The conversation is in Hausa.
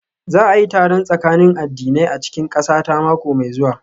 Za a yi taron tsakanin addinai a cikin ƙasata mako mai zuwa